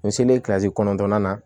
N selen kilzi kɔnɔntɔnnan na